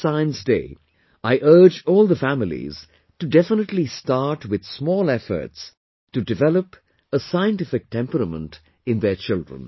On this Science Day, I urge all the families to definitely start with small efforts to develop a scientific temperament in their children